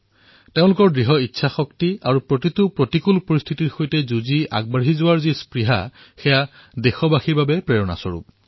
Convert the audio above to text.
তেওঁলোকৰ দৃঢ় ইচ্ছাশক্তি আৰু প্ৰতিটো প্ৰতিকূল পৰিস্থিতিৰ সৈতে যুঁজি আগবঢ়াৰ তেওঁলোকৰ উৎসাহে আমি দেশবাসীসকলক উৎসাহিত কৰে